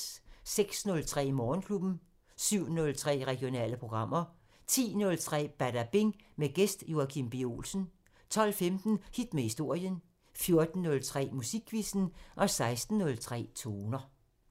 06:03: Morgenklubben 07:03: Regionale programmer 10:03: Badabing: Gæst Joachim B. Olsen 12:15: Hit med historien 14:03: Musikquizzen 16:03: Toner